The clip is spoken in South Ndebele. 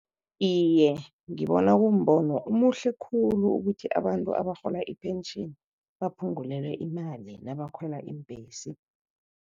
Iye, ngibona kumbono omuhle khulu ukuthi abantu abarhola ipentjheni baphungulelwe imali nabakhwela iimbhesi.